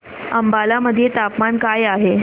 अंबाला मध्ये तापमान काय आहे